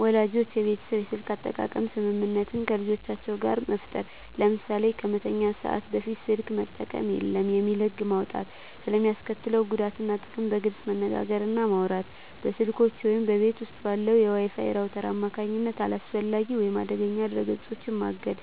ወላጆች የቤተሰብ የስልክ አጠቃቀም ስምምነት ከልጆቻቸው ጋር በጋራ መፍጠር። ለምሳሌ "ከመተኛት ሰዓት በፊት ስልክ መጠቀም የለም" የሚል ህግ መውጣት። ስለ ሚስከትለው ጉዳት እና ጥቅም በግልፅ መነጋገር እና ማውራት። በስልኮች ወይም በቤት ውስጥ ባለው የWi-Fi ራውተር አማካኝነት አላስፈላጊ ወይም አደገኛ ድረ-ገጾችን ማገድ።